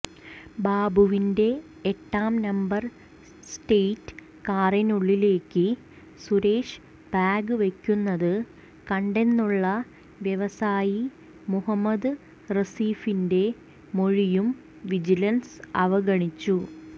ബാബുവിന്റെ എട്ടാം number state കാറിനുള്ളിലേക്ക് സുരേഷ് ബാഗ് വയ്ക്കുന്നത് കണ്ടെന്നുള്ള വ്യവസായി മുഹമ്മദ് റസീഫിന്റെ മൊഴിയും വിജിലൻസ് അവഗണിച്ചു